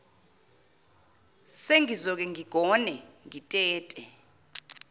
sengizoke ngigone ngitete